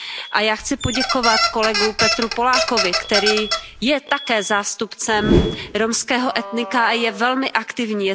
A já chci poděkovat kolegovi Peteru Pollákovi, který je také zástupcem romského etnika a je velmi aktivní.